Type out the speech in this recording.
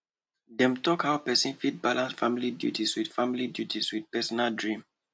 dem talk how person fit balance family duties with family duties with personal dream